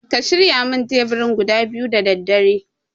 Ka shirya min teburi guda biyu da daddare